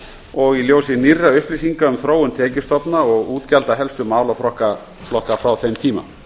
og í ljósi nýrra upplýsinga um þróun tekjustofna og útgjalda helstu málaflokka frá þeim tíma